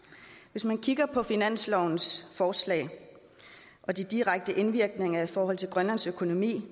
hvis man kigger på finanslovens forslag og de direkte indvirkninger i forhold til grønlands økonomi